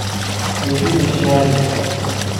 Eishunye shaai.